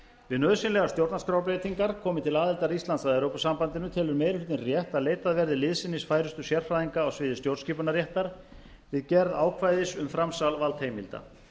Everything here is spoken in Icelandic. við nauðsynlegar stjórnarskrárbreytingar komi til aðildar íslands að evrópusambandinu telur meiri hlutinn rétt að leitað verði liðsinnis færustu sérfræðinga á sviði stjórnskipunarréttar við gerð ákvæðis um framsal valdheimilda